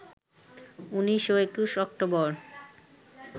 ১৯ ও ২১ অক্টোবর